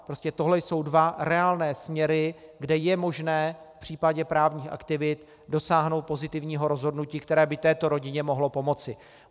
Prostě tohle jsou dva reálné směry, kde je možné v případě právních aktivit dosáhnout pozitivního rozhodnutí, které by této rodině mohlo pomoci.